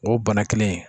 O bana kelen in